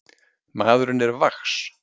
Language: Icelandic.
Maðurinn er vax.